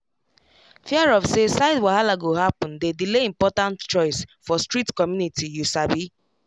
fear of say side wahala go happen dey delay important choice for strict community you sabi